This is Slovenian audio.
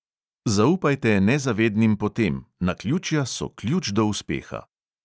Zaupajte nezavednim potem, naključja so ključ do uspeha.